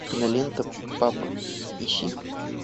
кинолента папа ищи